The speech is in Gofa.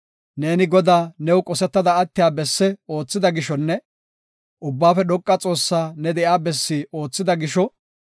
Neeni Godaa new qosetada attiya bessi oothida gishonne, Ubbaafe Dhoqa Xoossaa ne de7iya bessi oothida gisho,